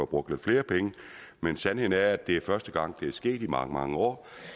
brugt lidt flere penge men sandheden er at det er første gang det er sket i mange mange år